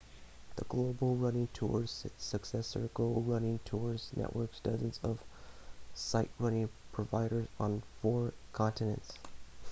the global running tours successor go running tours networks dozens of sightrunning providers on four continents